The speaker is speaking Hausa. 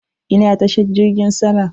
Ina tashar jirgin sama.